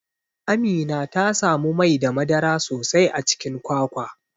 Amina tasamu Mai da madara sosai a Cikin kwakwa.